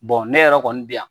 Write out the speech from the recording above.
ne yɛrɛ kɔni bɛ yan